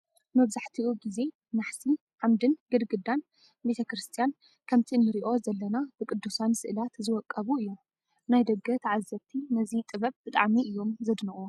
መብዛሕትኡ ግዜ ናሕሲ፣ ዓምድን ግድግዳን ቤተ ክርስቲያን ከምቲ ንሪኦ ዘለና ብቅዱሳን ስእላት ዝወቀቡ እዮም፡፡ ናይ ደገ ተዓዘብቲ ነዚ ጥበብ ብጣዕሚ እዮም ዘድንቕዎ፡፡